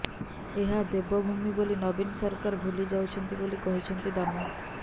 ଏହା ଦେବଭୂମି ବୋଲି ନବୀନ ସରକାର ଭୁଲି ଯାଉଛନ୍ତି ବୋଲି କହିଛନ୍ତି ଦାମ